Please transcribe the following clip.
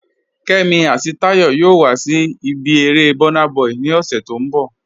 Kẹ́mí àti Táyọ̀ yòò wà sí ibi èrè Burnaboy ni ọṣẹ̀ tó nbọ̀.